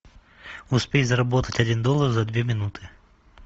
успеть заработать один доллар за две минуты